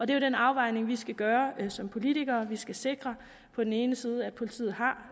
det er den afvejning vi skal gøre som politikere vi skal sikre på den ene side at politiet har